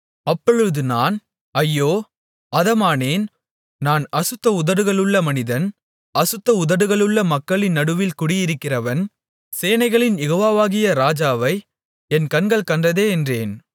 அப்பொழுது நான் ஐயோ அதமானேன் நான் அசுத்த உதடுகளுள்ள மனிதன் அசுத்த உதடுகளுள்ள மக்களின் நடுவில் குடியிருக்கிறவன் சேனைகளின் யெகோவாவாகிய ராஜாவை என் கண்கள் கண்டதே என்றேன்